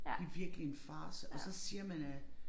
Det virkelig en farce og så siger man at